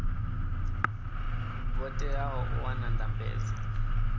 vho teaho u wana ndambedzo